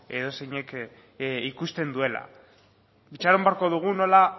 edozeinek ikusten duela itxaron beharko dugu nola